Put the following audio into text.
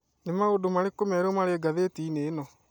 Nĩ maũndũ marĩkũ merũ marĩ ngathĩti-inĩ ĩno